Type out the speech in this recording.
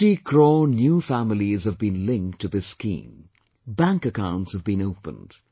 Thirty crore new families have been linked to this scheme, bank accounts have been opened